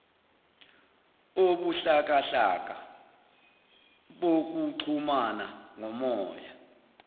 obuhlakahlaka bokuxhumana ngomoya